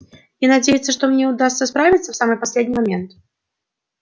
и надеяться что мне удастся справиться в самый последний момент